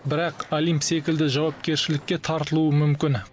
бірақ олимп секілді жауапкершілікке тартылуы мүмкін